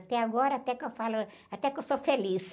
Até agora, até que eu falo, até que eu sou feliz.